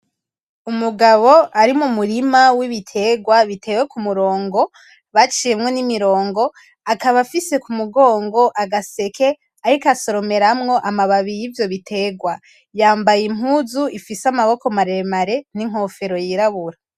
Umugabo ari mu murima w’ibiterwa bitewe kumurongo, baciyemwo n’imirongo akaba afise ku mugongo agaseke ariko asoromeramwo amababi y’ivyo biterwa. Yambaye impuzu ifise amaboko maremare n’inkofero yirabura.